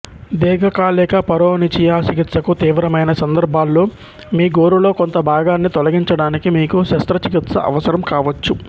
దీర్ఘకాలిక పరోనిచియా చికిత్సకు తీవ్రమైన సందర్భాల్లో మీ గోరులో కొంత భాగాన్ని తొలగించడానికి మీకు శస్త్రచికిత్స అవసరం కావచ్చు